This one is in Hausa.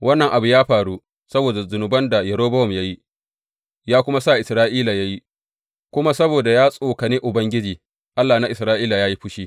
Wannan abu ya faru saboda zunuban da Yerobowam ya yi, ya kuma sa Isra’ila ya yi, kuma saboda ya tsokane Ubangiji, Allah na Isra’ila, ya yi fushi.